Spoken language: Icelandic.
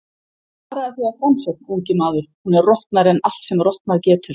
Varaðu þig á Framsókn, ungi maður, hún er rotnari en allt sem rotnað getur.